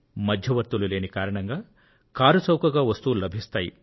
మధ్యవర్తులు లేని కారణంగా కారుచౌకగా వస్తువులు లభిస్తాయి